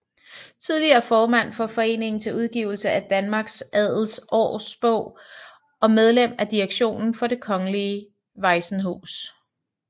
Tidligere formand for Foreningen til udgivelse af Danmarks Adels Aarbog og medlem af direktionen for Det Kongelige Vajsenhus